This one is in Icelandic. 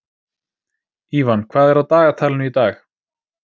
Ívan, hvað er á dagatalinu í dag?